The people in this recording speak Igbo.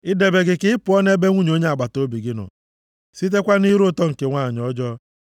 idebe gị ka ị pụọ nʼebe nwunye onye agbataobi gị nọ, sitekwa nʼire ụtọ nke nwanyị ọjọọ.